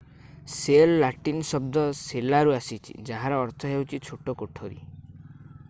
cell Latin ଶବ୍ଦ ସେଲାରୁ ଆସିଛି ଯାହାର ଅର୍ଥ ହେଉଛି ଛୋଟ କୋଠରୀ